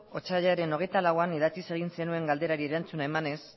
otsailaren hogeita lauean idatziz egin zenuen galderari erantzuna emanez